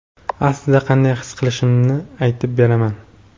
aslida qanday his qilishimni aytib beraman.